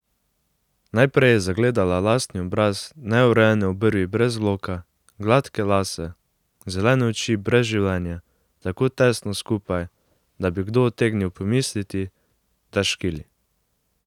Najprej je zagledala lastni obraz, neurejene obrvi brez loka, gladke lase, zelene oči brez življenja, tako tesno skupaj, da bi kdo utegnil pomisliti, da škili.